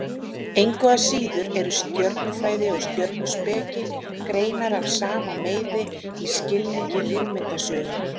Engu að síður eru stjörnufræði og stjörnuspeki greinar af sama meiði í skilningi hugmyndasögunnar.